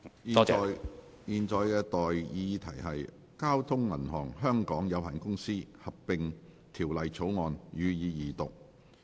現在的待議議題是：《交通銀行有限公司條例草案》，予以二讀。